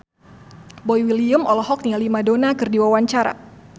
Boy William olohok ningali Madonna keur diwawancara